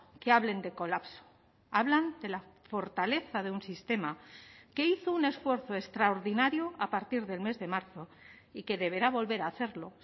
que hablen de colapso hablan de la fortaleza de un sistema que hizo un esfuerzo extraordinario a partir del mes de marzo y que deberá volver a hacerlo